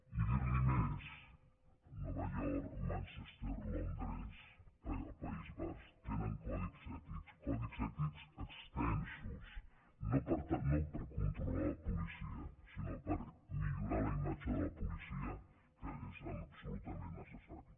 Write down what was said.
i dir·li més nova york manchester londres el país basc tenen codis ètics codis ètics extensos no per con·trolar la policia sinó per millorar la imatge de la policia que és absolutament necessari